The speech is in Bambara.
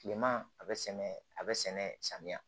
Kilema a bɛ sɛnɛ a bɛ sɛnɛ samiya